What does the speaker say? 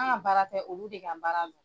An ka baara tɛ olu de ka baara don.